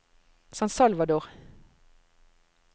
San Salvador